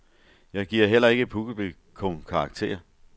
Jeg giver heller ikke publikum karakter.